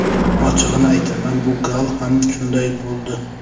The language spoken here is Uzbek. Ochig‘ini aytaman, bu gal ham shunday bo‘ldi.